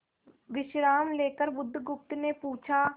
विश्राम लेकर बुधगुप्त ने पूछा